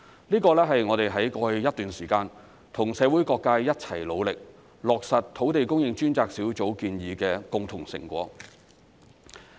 這是我們在過去一段時間跟社會各界一起努力，落實土地供應專責小組建議的共同成果。